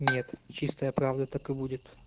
нет чистая правда так и будет